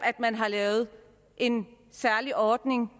at man har lavet en særlig ordning